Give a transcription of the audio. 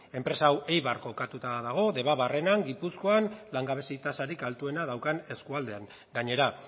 enpresa hau eibarren kokatuta dago debabarrenan gipuzkoan langabezia tasarik altuena daukan eskualdean gainera